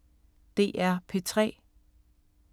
DR P3